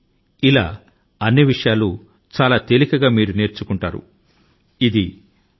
ఈ విషయాల ను గురించి చాలా సులభం గా నేర్చుకోవచ్చును తెలుసుకోవచ్చును